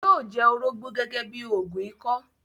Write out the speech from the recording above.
yóó jẹ “ orógbó ” gẹ́gẹ́ bíi òògùn ikọ́.